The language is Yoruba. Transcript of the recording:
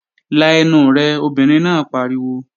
La ẹnu rẹ, obìnrin náà pariwo!